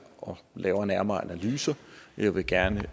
og lavere nærmere analyser jeg vil gerne